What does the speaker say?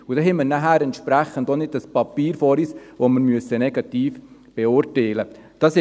Dann haben wir entsprechend auch kein Papier vor uns, das wir negativ beurteilen müssen.